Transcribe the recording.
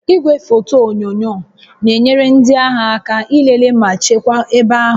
Igwefoto onyunyo na-enyere ndị agha aka ilele ma chekwaa ebe ahụ